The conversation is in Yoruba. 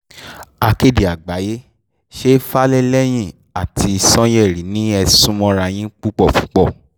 akéde àgbáyé ṣe fàlẹ́ lẹ́yìn àti sànyẹ̀rì ni ẹ sún mọ́ra yín púpọ̀